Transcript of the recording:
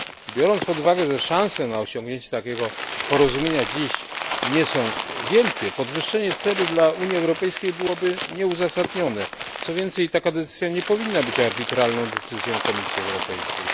Biorąc pod uwagę, że szanse na osiągnięcie takiego porozumienia na dziś są niewielkie, podwyższenie celu dla Unii Europejskiej byłoby nieuzasadnione, co więcej, taka decyzja nie powinna być arbitralną decyzją Komisji Europejskiej.